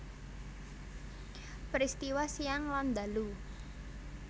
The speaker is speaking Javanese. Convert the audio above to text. Peristiwa siang lan ndalu